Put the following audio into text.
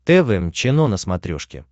тэ вэ эм чено на смотрешке